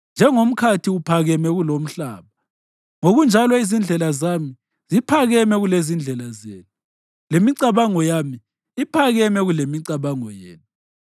“Njengomkhathi uphakeme kulomhlaba, ngokunjalo izindlela zami ziphakeme kulezindlela zenu, lemicabango yami iphakeme kulemicabango yenu.